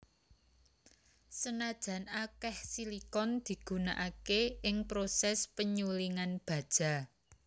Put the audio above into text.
Senajan akeh silikon digunakake ing proses penyulingan baja